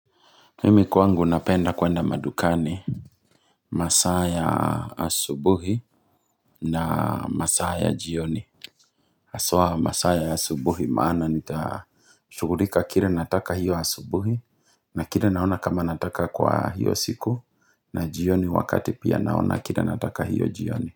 Mimi kwangu napenda kuenda madukani masaa ya asubuhi na masaa ya jioni Haswa masaa ya asubuhi maana nita Shughulika kile nataka hiyo asubuhi na kile naona kama nataka kwa hiyo siku na jioni wakati pia naona kile nataka hiyo jioni.